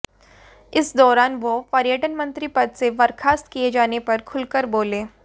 इस दौरान वह पर्यटन मंत्री पद से बर्खास्त किए जाने पर खुलकर बोले